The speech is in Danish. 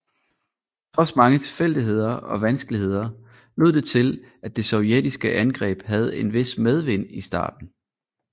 Trods mange tilfældigheder og vanskeligheder lod det til at det sovjetiske angreb havde en vis medvind i starten